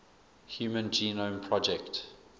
human genome project